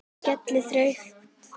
Hann skal þrauka.